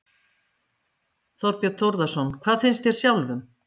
Þorbjörn Þórðarson: Hvað finnst þér sjálfum?